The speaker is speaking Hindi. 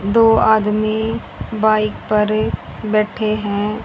दो आदमी बाइक पर बैठे हैं।